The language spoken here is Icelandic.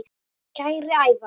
Kæri Ævar.